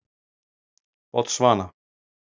Botsvana